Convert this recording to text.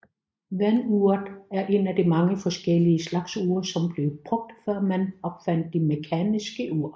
Vanduret er en af mange forskellige slags ure som blev brugt før man opfandt det mekaniske ur